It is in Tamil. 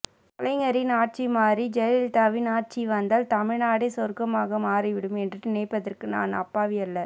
கலைஞரின் ஆட்சி மாறி ஜெயலலிதாவின் ஆட்சி வந்தால் தமிழ்நாடே சொர்க்கமாக மாறிவிடும் என்று நினைப்பதற்கு நான் அப்பாவி அல்ல